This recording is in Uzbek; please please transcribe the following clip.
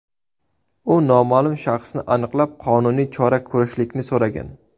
U noma’lum shaxsni aniqlab, qonuniy chora ko‘rishlikni so‘ragan.